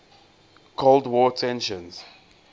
cold war tensions